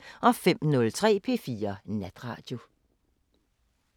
05:03: P4 Natradio